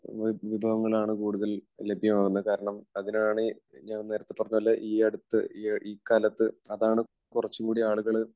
വിഭവങ്ങളാണ് കൂടുതൽ ലഭ്യമാകുന്നത്. കാരണം അതിനാണ് ഞാൻ നേരത്തെ പറഞ്ഞതുപോലെ ഈ അടുത്ത് ഇക്കാലത്ത് അതാണ് കുറച്ചുകൂടി ആളുകൾ